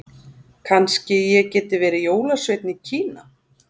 Kannski ég geti verið jólasveinn í Kína.